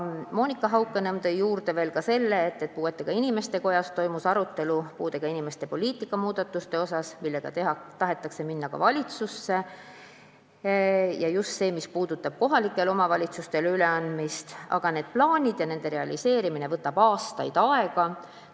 Monika Haukanõmm tõi juurde selle, et Eesti Puuetega Inimeste Kojas toimus arutelu puudega inimeste poliitika muudatuste üle, millega tahetakse minna ka valitsusse – just see, mis puudutab kohalikele omavalitsustele üleandmist –, aga plaanide realiseerimine võtab aastaid aega.